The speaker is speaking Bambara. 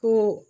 Ko